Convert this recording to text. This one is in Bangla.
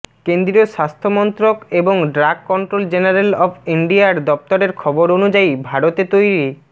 কেন্দ্রীয় স্বাস্থ্য মন্ত্রক এবং ড্রাগ কন্ট্রোল জেনারেল অব ইন্ডিয়ার দফতরের খবর অনুযায়ী ভারতে তৈরি